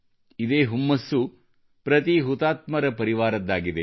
ಇದೇ ಹುಮ್ಮಸ್ಸು ಪ್ರತೀ ಹುತಾತ್ಮರ ಪರಿವಾರದ್ದಾಗಿದೆ